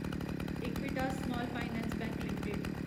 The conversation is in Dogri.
Equitas small finance bank limited